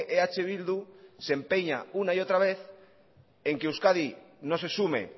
eh bildu se empeña una y otra vez en que euskadi no se sume